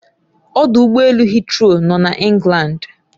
Odụ ụgbọ elu heathrow nọ na Englandi